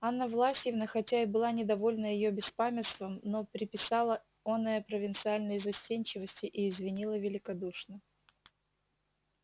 анна власьевна хотя и была недовольна её беспамятством но приписала оное провинциальной застенчивости и извинила великодушно